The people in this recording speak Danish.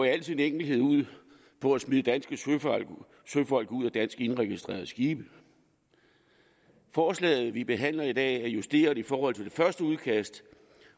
i al sin enkelhed ud på at smide danske søfolk ud af dansk indregistrerede skibe forslaget vi behandler i dag er justeret i forhold til det første udkast